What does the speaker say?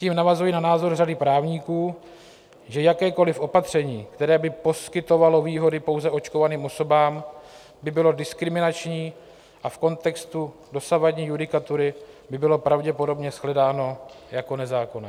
Tím navazuji na názor řady právníků, že jakékoliv opatření, které by poskytovalo výhody pouze očkovaným osobám, by bylo diskriminační a v kontextu dosavadní judikatury by bylo pravděpodobně shledáno jako nezákonné.